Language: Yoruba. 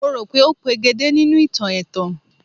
Mo rò pé ó pegedé nínú ìtàn ẹ̀tàn